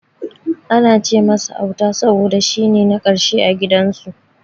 Ana ce masa Auta saboda shine na karshe a gidan su.